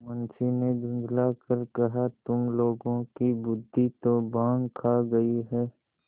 मुंशी ने झुँझला कर कहातुम लोगों की बुद्वि तो भॉँग खा गयी है